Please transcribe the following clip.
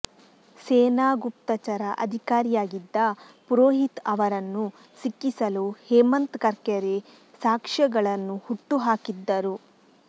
ಸೇನಾ ಗುಪ್ತಚರ ಅಧಿಕಾರಿಯಾಗಿದ್ದ ಪುರೋಹಿತ್ ಅವರನ್ನು ಸಿಕ್ಕಿಸಲು ಹೇಮಂತ್ ಕರ್ಕರೆ ಸಾಕ್ಷ್ಯಗಳನ್ನು ಹುಟ್ಟುಹಾಕಿದ್ದರು